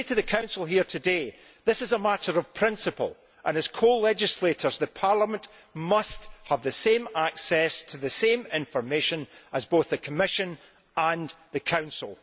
I would say to the Council here today that this is a matter of principle, and as co legislators Parliament must have the same access to the same information as both the Commission and the Council.